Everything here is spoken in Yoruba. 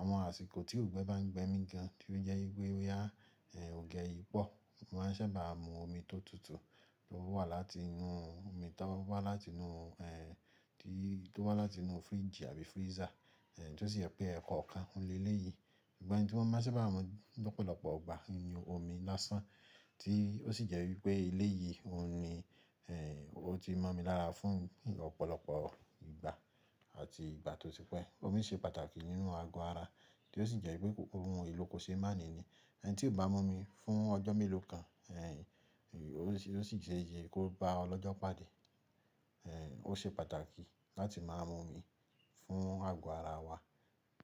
Àwọn àsìkò tí òǹgbẹ bá ń gbẹ mí gan tí ó jẹ́ wípé bóya ongbé yiì pọ̀, mo máa ń sábà mu omi tó tutù tó wá láti inú, omi tó wá láti inú, tó wá láti inú fridge àbí freezer, tí ó sì jẹ́ pé ẹ̀ekọ̀ọ̀kan o n leléyìí. Ìgbà ẹyi tí mo bá sábà mu lọ́pọ̀lọpọ̀ igbà oun ni omi lásán tí ó sì jẹ́ wípé eléyìí, òun ni ó ti mọ̀ mi lára fún lọ́pọ̀lọpọ̀ ìgbà àti ìgbà tí ó ti pẹ́. Omi ṣe pàtàkì nínú ago ara, tí ó sì jẹ́ wípé ohun èlò kò ṣe máàní ni. Ẹni tí ò bá mú omi fún ọjọ́ mélòó kan, ó sì ṣeese kí ó bá ọlọ́jọ́ pàdé. Ó ṣe pàtàkì láti máa mu omi fún ago ara wa.